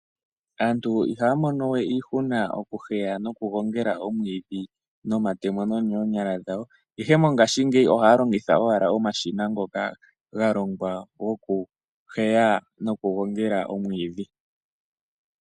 Aantu ihaya monowe iihuna okuheya noku gongela omwiidhi no matemo no noonyala dhawo ihe mongashingeyi ohaya longitha owala omashina ngoka galongwa gokuheya noku gongela omwiidhi.